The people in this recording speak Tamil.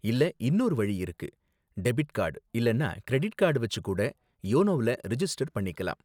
இல்ல இன்னொரு வழி இருக்கு, டெபிட் கார்டு இல்லன்னா கிரெடிட் கார்டு வெச்சு கூட யோனோவுல ரிஜிஸ்டர் பண்ணிக்கலாம்.